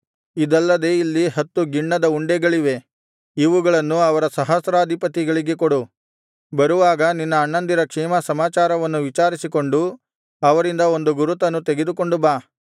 ಇದಲ್ಲದೆ ಇಲ್ಲಿ ಹತ್ತು ಗಿಣ್ಣದ ಉಂಡೆಗಳಿವೆ ಇವುಗಳನ್ನು ಅವರ ಸಹಸ್ರಾಧಿಪತಿಗೆ ಕೊಡು ಬರುವಾಗ ನಿನ್ನ ಅಣ್ಣಂದಿರ ಕ್ಷೇಮಸಮಾಚಾರವನ್ನು ವಿಚಾರಿಸಿಕೊಂಡು ಅವರಿಂದ ಒಂದು ಗುರುತನ್ನು ತೆಗೆದುಕೊಂಡು ಬಾ